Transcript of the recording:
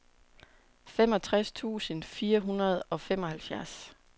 femogtres tusind fire hundrede og femoghalvfjerds